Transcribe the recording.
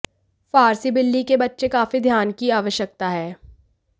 फारसी बिल्ली के बच्चे काफी ध्यान की आवश्यकता है